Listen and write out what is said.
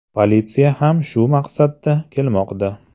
Politsiya ham shu maqsadda kelmoqda.